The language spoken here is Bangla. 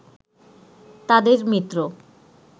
তাদের মিত্র